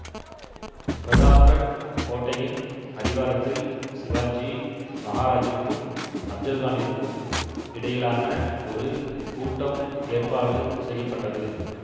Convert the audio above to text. பிரதாப்கட் கோட்டையின் அடிவாரத்தில் சிவாஜி மகாராஜிற்கும் அப்ஜல்கானிற்கும் இடையிலான ஒரு கூட்டம் ஏற்பாடு செய்ய பட்டது